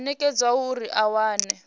o nekedzwaho uri a wane